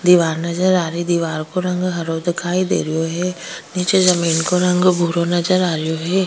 दिवार नजर आरी दिवार का रंग हरो दिखाई देरो है नीच जमीन के रंग भूरो नजर आर है।